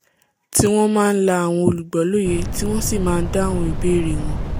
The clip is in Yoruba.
tí wọ́n máa ń la àwọn olùgbọ́ l’óye tí wọ́n sì máa ń dáhùn ìbéèrè wọ́n